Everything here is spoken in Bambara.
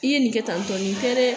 I ye nin kɛ tan tɔ, ni tɛ dɛ.